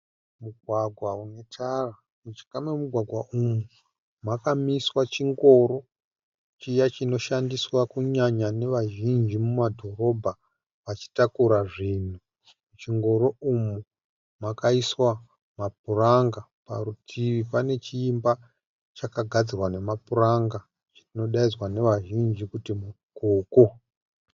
Mugwagwa unetara. Mujinga memugwagwa umu, makamiswa chingoro chiya chinoshandiswa kunyanya nevazhinji mumadhorobha vachitakura zvinhu. Muchingoro umu makaiswa mapuranga. Parutivi pane chimba chakagadzirwa nemapuranga chinodaidzwa nevazhinji kuti mukoko